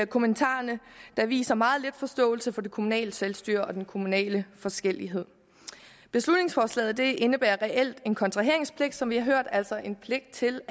kommentarerne der viser meget lidt forståelse for det kommunale selvstyre og den kommunale forskellighed beslutningsforslaget indebærer reelt en kontraheringspligt som vi har hørt altså en pligt til